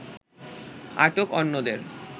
আটক অন্যদের